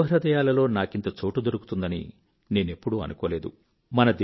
యువ హృదయాలలో నాకింత చోటు దొరుకుతుందని నేనెప్పుడూ అనుకోలేదు